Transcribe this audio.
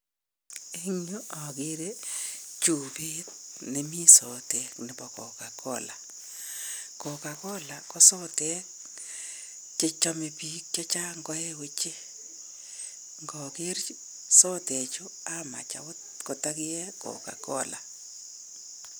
Eng yu akere chupeet nemi sotek nebo Cocacola. Cocacola ko sotek che chamei biik chechang koe oche. Ngokeer sotechu amach agot kotakie Cocacola.